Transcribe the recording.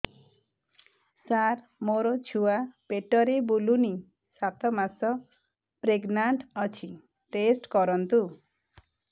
ସାର ମୋର ଛୁଆ ପେଟରେ ବୁଲୁନି ସାତ ମାସ ପ୍ରେଗନାଂଟ ଅଛି ଟେଷ୍ଟ କରନ୍ତୁ